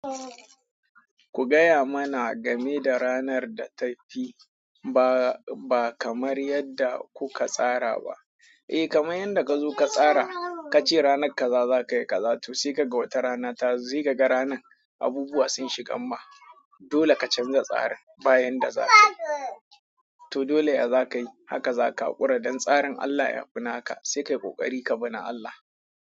Ku gaya mana game da ranar da ta fi ba kamar yadda kuka tsara ba. Eh kamar yadda ka zo ka tsara, ka ce ranar kaza za ka yi kaza to sai ka ga wata rana ta zo sai ka ga ranan abubuwa sun shiga mma. Dole ka canza tsarin bayan da za ka yi. To dole ya za ka yi haka za ka ƙura don tsarin Allah ya fna ka sai ka yi ƙoƙari ka bi na Allah.